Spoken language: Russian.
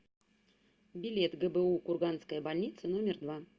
билет гбу курганская больница номер два